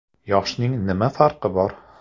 − Yoshning nima farqi bor?